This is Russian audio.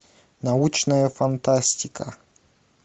научная фантастика